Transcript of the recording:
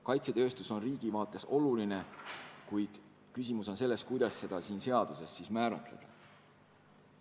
Kaitsetööstus on riigi seisukohalt oluline, kuid küsimus on selles, kuidas seda seaduses määratleda.